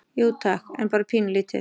Jú, takk, en bara pínulítið.